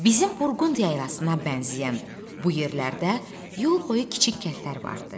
Bizim Burqund yaylasına bənzəyən bu yerlərdə yol boyu kiçik kəndlər vardı.